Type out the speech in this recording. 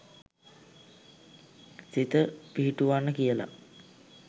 සිත පිහිටුවන්න කියලා